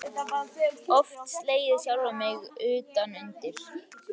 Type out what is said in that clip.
Oft slegið sjálfan mig utan undir.